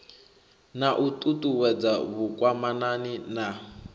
na u ṱuṱuwedza vhukwamani na